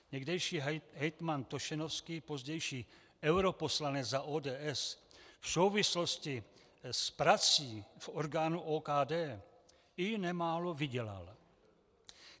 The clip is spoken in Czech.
Někdejší hejtman Tošenovský, pozdější europoslanec za ODS, v souvislosti s prací v orgánu OKD i nemálo vydělal.